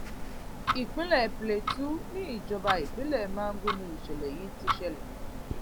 ìpínlẹ plateau níjọba ìbílẹ mangu ni ìṣẹlẹ yìí ti ṣẹlẹ